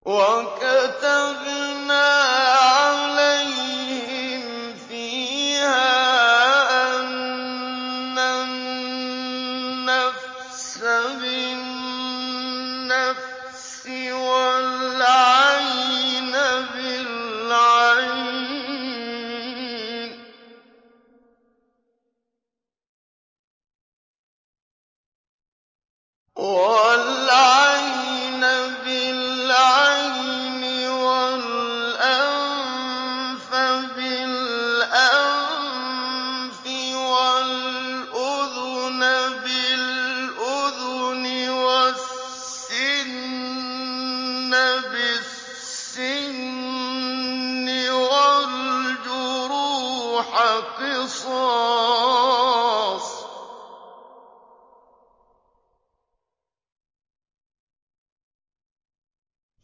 وَكَتَبْنَا عَلَيْهِمْ فِيهَا أَنَّ النَّفْسَ بِالنَّفْسِ وَالْعَيْنَ بِالْعَيْنِ وَالْأَنفَ بِالْأَنفِ وَالْأُذُنَ بِالْأُذُنِ وَالسِّنَّ بِالسِّنِّ وَالْجُرُوحَ قِصَاصٌ ۚ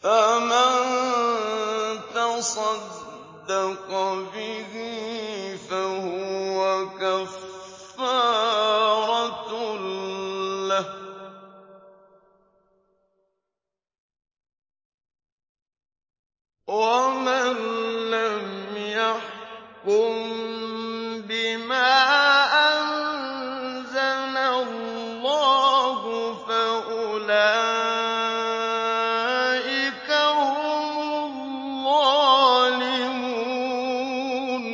فَمَن تَصَدَّقَ بِهِ فَهُوَ كَفَّارَةٌ لَّهُ ۚ وَمَن لَّمْ يَحْكُم بِمَا أَنزَلَ اللَّهُ فَأُولَٰئِكَ هُمُ الظَّالِمُونَ